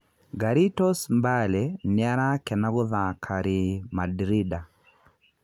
"Garitos Mbale nĩarakena gũthaka Ri Mandrinda.